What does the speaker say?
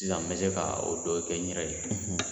Sisan n bɛ se ka o dɔ kɛ n yɛrɛ ye